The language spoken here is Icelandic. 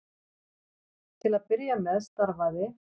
Til að byrja með starfaði